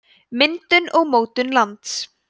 myndun og mótun lands